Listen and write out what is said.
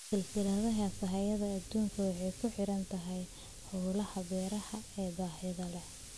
Silsilada sahayda adduunku waxay ku xidhan tahay hawlaha beeraha ee baaxadda leh.